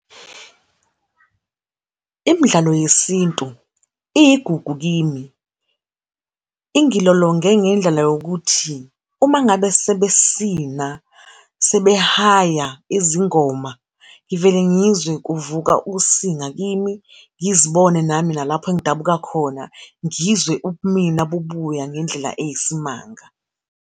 Imdlalo yesintu iyigugu kimi. Ingilolonge ngendlela yokuthi, uma ngabe sebesina, sebehaya izingoma, ngivele ngizwe kuvuka usinga kimi, ngizibone nami nalapho engidabuka khona, ngizwe ubumina bubuya ngendlela eyisimanga.